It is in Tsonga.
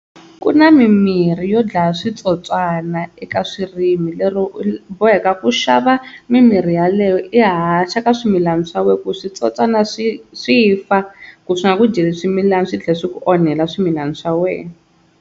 Ku na mimirhi yo dlaya switsotswana eka swirimi lero u boheka ku xava mimirhi yaleyo i haxa ka swimilana swa wena ku switsotswana swi swi fa ku swi nga ku dyeli swimilana swi tlhela swi ku onhela swimilana swa wena.